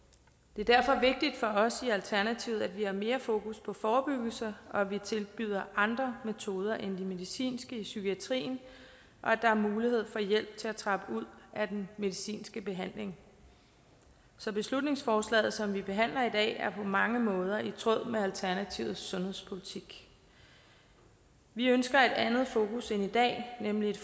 det er derfor vigtigt for os i alternativet at vi har mere fokus på forebyggelse og at de tilbyder andre metoder end de medicinske i psykiatrien og at der er mulighed få hjælp til at trappe ud af den medicinske behandling så beslutningsforslaget som vi behandler i dag er på mange måder i tråd med alternativets sundhedspolitik vi ønsker et andet fokus end i dag nemlig et